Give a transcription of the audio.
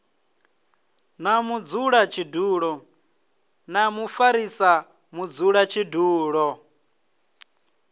na mudzulatshidulo na mufarisa mudzulatshidulo